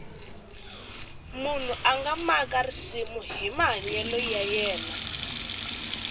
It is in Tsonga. munhu a nga maka risimu hi mahanyelo ya yena